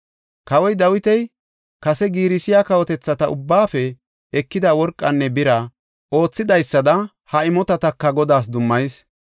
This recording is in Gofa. Kawoy Dawiti kase giirisiya kawotethata ubbaafe ekida worqanne bira oothidaysada ha imotataka Godaas dummayis.